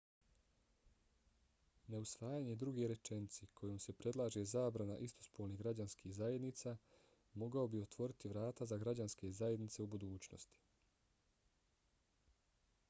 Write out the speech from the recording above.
neusvajanje druge rečenice kojom se predlaže zabrana istopolnih građanskih zajednica mogao bi otvoriti vrata za građanske zajednice u budućnosti